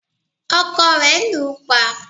ọkọ rẹ̀ lù ú pa